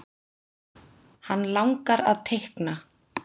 Hann langar að teikna.